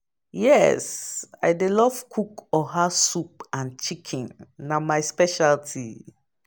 Yes, i dey love cook oha soup and chicken, na my specialty.